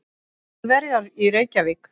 Þjóðverja í Reykjavík.